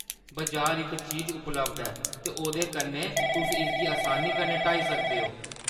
बजार इक चीज उपलब्ध ऐ, ते ओह्‌दे कन्नै तुस इसगी असानी कन्नै हटाई सकदे ओ।